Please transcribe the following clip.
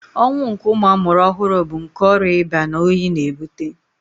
Ọnwụ nke ụmụ amụrụ ọhụrụ bu nkè ọrịa ịba na oyi n'ebute